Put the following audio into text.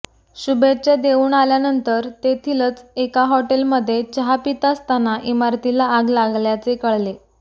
शुभेच्छा देऊन आल्यानंतर तेथीलच एका हॉटेलमध्ये चहा पित असताना इमारतीला आग लागल्याचे कळले